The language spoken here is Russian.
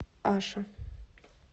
аша